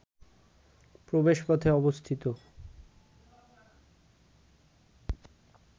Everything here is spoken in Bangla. প্রবেশপথে অবস্থিত